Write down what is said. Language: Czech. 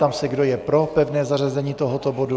Ptám se, kdo je pro pevné zařazení tohoto bodu.